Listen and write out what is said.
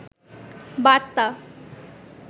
বার্তা